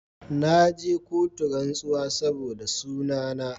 Na je kotu rantsuwa saboda suna na